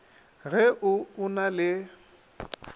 ge o o na le